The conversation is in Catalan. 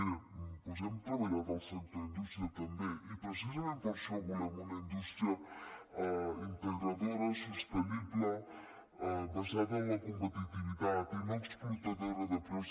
miri doncs hem treballat al sector industrial també i precisament per això volem una indústria integradora sostenible basada en la competitivitat i no explotadora de preus